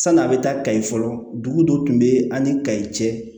San'a bɛ taa kayi fɔlɔ dugu dɔ tun bɛ an ni kayi cɛ